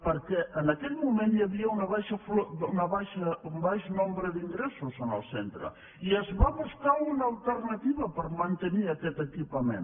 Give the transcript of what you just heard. perquè en aquell moment hi havia un baix nombre d’ingressos en el centre i es va buscar una alternativa per mantenir aquest equipament